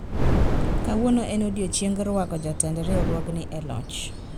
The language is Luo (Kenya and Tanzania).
kawuono en odiochieng' rwako jotend riwruogni e loch